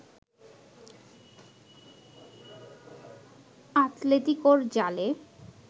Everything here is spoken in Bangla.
আতলেতিকোর জালে